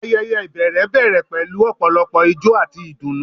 Ayẹyẹ ibẹrẹ bẹrẹ pẹlu ọpọlọpọ ijó ati idunnu